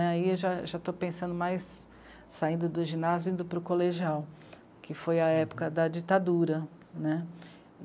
Aí eu já, já estou pensando mais saindo do ginásio, indo para o colegial, que foi a época da ditadura, né?